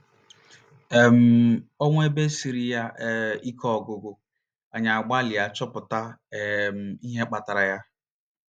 um O nwee ebe siiri ya um ike ọgụgụ, anyị agbalịa chọpụta um ihe kpatara ya.